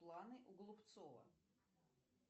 планы у голубцова